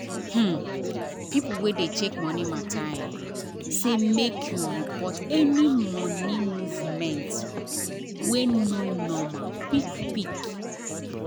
um people wey dey check money um matter say make you report any money movement wey um no normal quick quick.